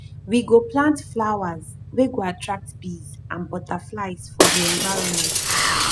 we go plant flowers wey go attract bees and butterflies for di environment